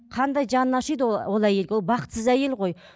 қандай жаның ашиды ол әйелге ол бақытсыз әйел ғой